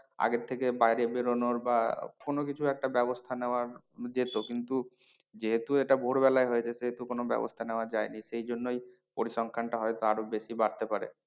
আগে থেকে বাইরে বেরোনোর বা কোনো কিছু একটা ব্যবস্থা নেওয়া যেত কিন্তু যেহেতু এটা ভোর বেলায় হয়েছে সেহেতু কোনো ব্যবস্থা নেওয়া যায়নি সেই জন্যই পরিসংখ্যানটা হয়তো আরো বেশি বাড়তে পারে।